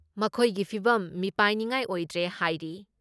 ꯃꯈꯣꯏꯒꯤ ꯐꯤꯚꯝ ꯃꯤꯄꯥꯏꯅꯤꯉꯥꯏ ꯑꯣꯏꯗ꯭ꯔꯦ ꯍꯥꯏꯔꯤ ꯫